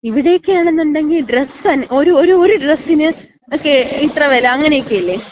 ഇവിടെക്ക ആണെങ്കി, ഡ്രസ്സ് ഒരു ഡ്രസ്സിന് ഒക്ക ഇത്ര വെല അങ്ങനെയൊക്കെയല്ലേ.